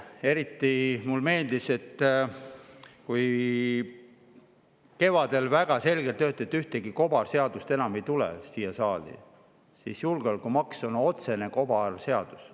Eriti mulle meeldis, et kevadel väga selgelt öeldi, et ühtegi kobarseadust enam ei tule siia saali, aga julgeolekumaksu on otsene kobarseadus.